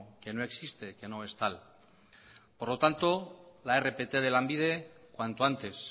que no existe que no es tal por lo tanto la rpt de lanbide cuanto antes